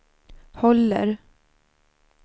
håller